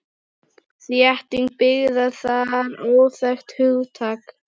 Þétting byggðar var óþekkt hugtak.